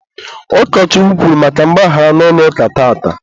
ukochukwu kwuru maka mgbaghara n'ụlọ ụka tata.